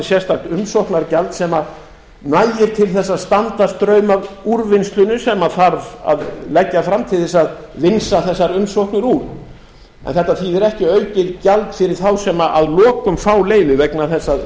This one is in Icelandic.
sérstakt umsóknargjald sem nægir til þess að standa straum af úrvinnslunni sem þarf að leggja fram til þess að vinsa þessar umsóknir úr en þetta þýðir ekki aukið gjald fyrir þá sem að lokum fá leyfið vegna þess að